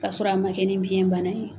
K'a sɔrɔ a ma kɛ ni biyɛnbana ye.